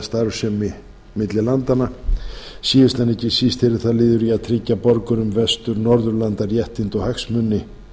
starfsemi sína landanna á milli síðast en ekki síst yrði það liður í að tryggja borgurum vestur norðurlanda réttindi og hagsmuni